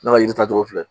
Ne ka yiri ta tɔgɔ filɛ